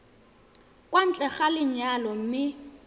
kwa ntle ga lenyalo mme